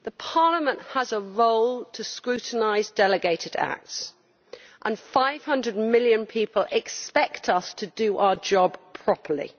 Parliament has a role to scrutinise delegated acts, and 500 million people expect us to do our job properly.